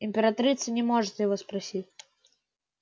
императрица не может его простить